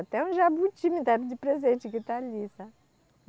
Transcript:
Até um jabuti me deram de presente, que está ali, sabe?